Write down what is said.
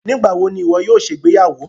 Nígbàwọ̀ ni iwọ yóò ṣẹ igbeyàwó?